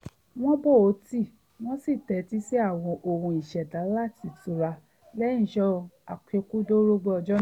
wọ́n po tíì wọ́n sì tẹ́tí sí àwọn ohùn ìṣẹ̀dá láti tura lẹ́yìn iṣẹ́ àṣekúdórógbó ọjọ́ náà